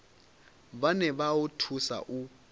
vhane vha o thusa u